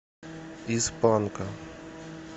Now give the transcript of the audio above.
из панка